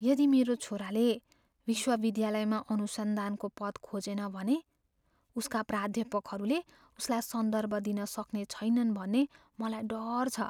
यदि मेरो छोराले विश्वविद्यालयमा अनुसन्धानको पद खोजेन भने, उसका प्राध्यापकहरूले उसलाई सन्दर्भ दिन सक्ने छैनन् भन्ने मलाई डर छ।